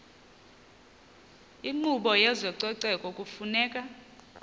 inkqubo yezococeko kufuneka